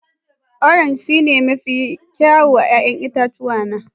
Orange shine mafi kyawun 'ya'yan itace na